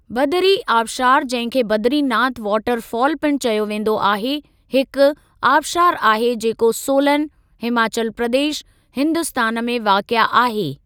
बदरी आबशारु जंहिं खे बदरी नाथ वाटर फ़ॉल पिणु चयो वेंदो आहे, हिक आबशारु आहे जेको सोलन, हिमाचल प्रदेश, हिन्दुस्तान में वाक़िए आहे।